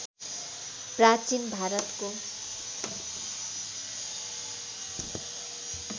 प्राचीन भारतको